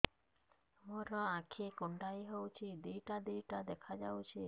ମୋର ଆଖି କୁଣ୍ଡାଇ ହଉଛି ଦିଇଟା ଦିଇଟା ଦେଖା ଯାଉଛି